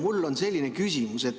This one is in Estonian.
Mul on selline küsimus.